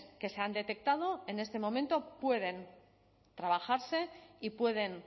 que se han detectado en este momento pueden trabajarse y pueden